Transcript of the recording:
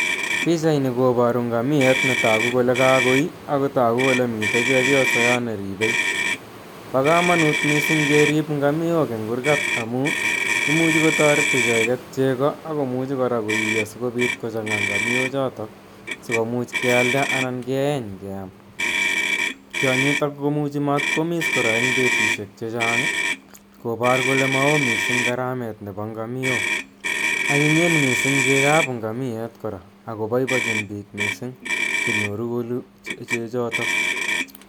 Pichani koparu ngamieet ne tagu kole ka koii ako tagu kole mitei chepyoso yo neripei. Pa kamanut missing' kerip ngamiok rng' kurgat amu imuchi kotaret icheget chego ako muchi kora koiiyo si kopiit kochang'aa ngamiochotok si komuch kealda anan keeny ke am. Tionyitok komuchi matkoamiss kora eng' petushek che chang' kopar kole ma oo missing' gharamet nepo ngamiok. Anyinyen missng' chegoap ngamieet kora ako paipachin piik missing chenyoru kolu chechotok.